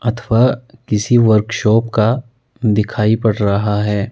अथवा किसी वर्कशॉप कादिखाई पड़ रहा है।